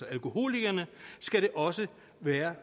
alkoholikerne skal det også være